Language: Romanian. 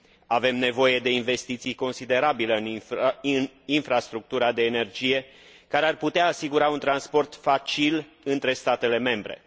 Avem nevoie de investiții considerabile în infrastructura de energie, care ar putea asigura un transport facil între statele membre.